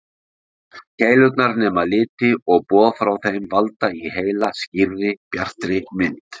Keilurnar nema liti og boð frá þeim valda í heila skýrri, bjartri mynd.